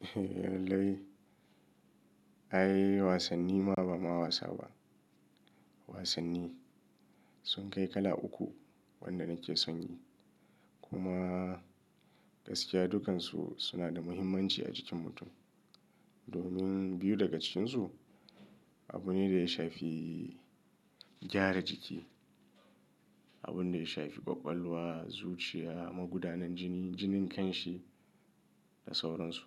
Eh, lallai. Ai wasanni ma ba ma wasa ba. Wasanni sun kai kala uku wanda nake son yi kuma gaskiya dukansu suna da muhimmanci a jikin mutum. Domin biyu daga cikinsu abu ne da ya shafi gyara jiki, abun da ya shafi ƙwaƙwalwa, zuciya, magudanin jini, jinin kanshi da sauransu.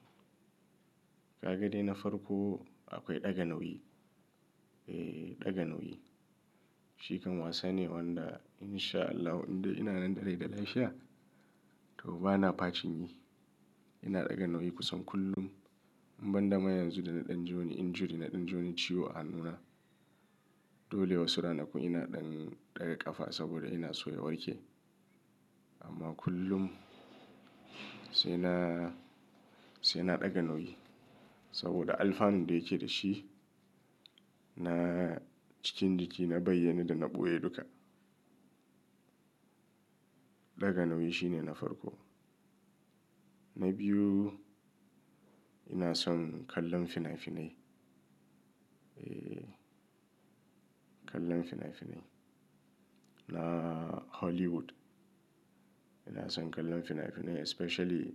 Kaga de na farko akwai ɗaga nauyi. Eh, ɗaga nauyi. Shikan wasa ne wanda insha Allah indai ina nan da rai da lafiya to bana fashin yi. Ina ɗaga nauyi kusan kullum. In banda ma yanzu da na ɗan je injury, na ɗan jini wani ciwo a hannu na. Dole wasu ranaku ina ɗan ɗaga ƙafa saboda ina so na warke. Amma kullum sai na, sai na ɗaga nauyi saboda alfanun da yake da shi na cikin jiki na bayyanne da na ɓoye duka. Ɗaga nauyi shine na farko. Na biyu ina son kallon fina-finai. Eh, kallon fina-finai na Hollywood. Ina son kallon fina-finai especially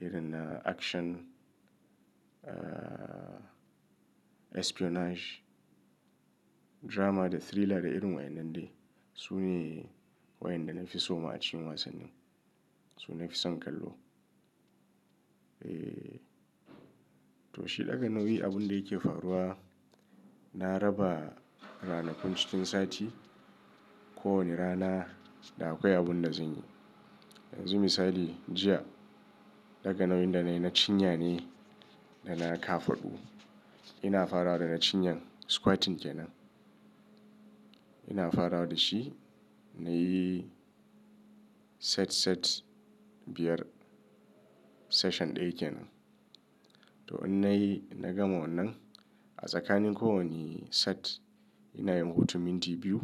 irin na action, espionage, drama da thriller da irin wa'inan dai. Su ne wayan da na fi so ma a cikin wasannin. Su na fi son kallo. Eh, to shi ɗaga nauyi abun da yake faruwa na raba ranakun cikin sati. Ko wane rana da akwai abun da zan yi. Yanzu misali jiya ɗaga nauyin da na yi na cinya nai da na kafaɗu. Ina fara da na cinyan squatting kenan. Ina fara da shi na yi set-set biyar session ɗaya kenan. To in na yi, na gama wannan a tsakanin kowani set ina yin hutu minti biyu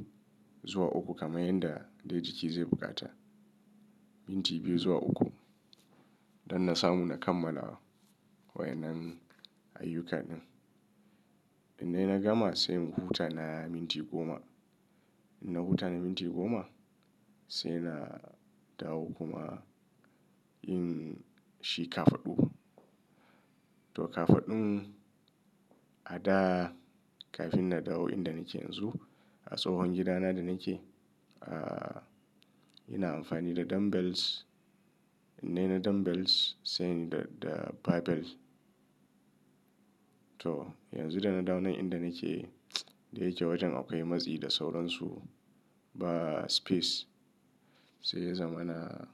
zuwa uku kamar yadda dai jiki zai buƙata. Minti biyu zuwa uku don na samu na kammalawa wayanan ayyukanin. In dai na gama sai huta na minti goma. In na huta na minti goma sai na dawo kuma yin shi kafaɗu. To kafaɗun a da kafin na dawo inda nake yanzu a tsohon gidana da nake, ah, ina amfani da dumb bells. In dai na dumb bells sai ni da, da barbells. To yanzu da na dawo nan inda nake dai yake wajen akwai matsi da sauransu ba space sai ya zaman aa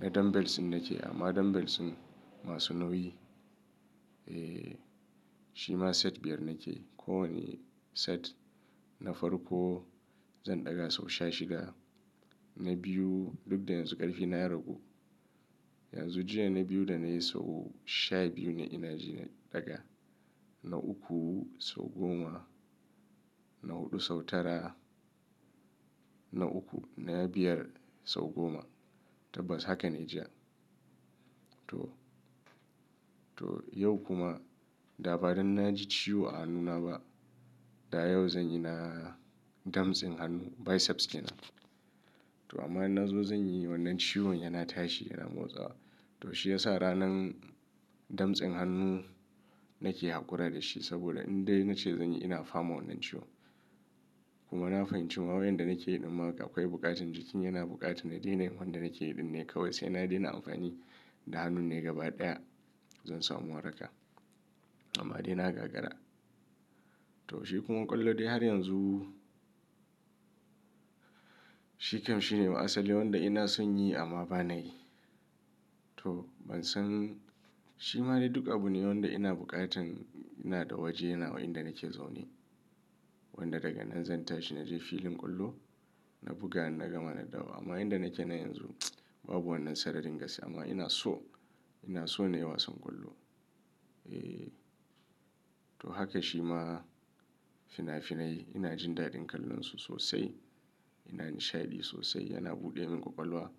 na dumb bells din nake amma masu nauyi. Eh, shi ma set biyar nake. Ko wane set na farko zan ɗaga sau sha shida. Na biyu duk da yanzu ƙarfi na ragu. Yanzu jiya na biyu da na yi sau sha biyu ne ina ji na ɗaga. Na uku sau goma. Na huɗu sau tara. Na uku na biyar sau goma. Tabbas haka nai jiya, toh yau kuma da badan naji ciwo a jikina da yau zanyi na damtsen hannu basses kenan to amma na zo zan yi wannan ciwon yana tashi yana motsawa. To shi ya sa ranan damtsen hannu nake haƙura da shi saboda in dai na ce zan yi ina fama wannan ciwo. Kuma na fahimci ma wayan da nake yi ɗimma ga akwai buƙatar jikin yana buƙatar na daina wanda nake yi ɗin ne kawai sai na daina amfani da hannun ne gaba ɗaya zan samu waraka amma dai na gagara. To shi kuma ƙwallo dai har yanzu shi kam shi ne asali wanda ina son yi amma ba na yi. To ban san shi ma dai duk abu ne wanda ina buƙatan ina da waje nawa inda nake zaune. Wanda daga nan zan tashi naje filin ƙwallo na buga na gama na dawo. Amma inda nake nan yanzu babu wannan sararin gaskiya amma ina so, ina so na yi wasan ƙwallo. Eh, to haka shi ma fina-finai ina jin daɗin kallonsu sosai. Ina nishaɗi sosai yana buɗe min ƙwaƙwalwa.